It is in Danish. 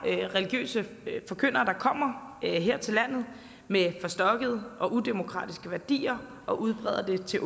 er religiøse forkyndere der kommer her til landet med forstokkede og udemokratiske værdier og udbreder dem til